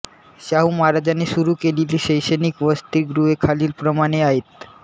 शाहू महाराजांनी सुरू केलेली शैक्षणिक वसतिगृहे खालीलप्रमाणे आहेत